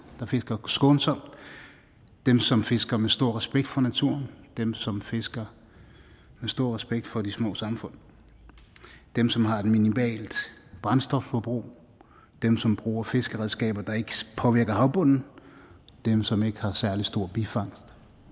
der fisker skånsomt dem som fisker med stor respekt for naturen dem som fisker med stor respekt for de små samfund dem som har et minimalt brændstofforbrug dem som bruger fiskeredskaber der ikke påvirker havbunden dem som ikke har særlig stor bifangst